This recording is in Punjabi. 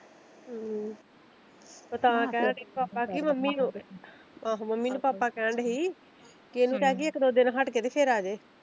ਹਮ ਮੈਂ ਤਾਂ ਕਹਿਣ ਡੀ ਪਾਪਾ ਕੀ ਮੰਮੀ ਨੂੰ ਆਹੋ ਮੰਮੀ ਨੂੰ ਪਾਪਾ ਕਹਿਣ ਡੇ ਸੀ ਕਿ ਇਹਨੂੰ ਕਹਿ ਦਇਏ ਇਕ ਦੋ ਦਿਨ ਹੱਟ ਕੇ ਤੇ ਫਿਰ ਆਜੇ।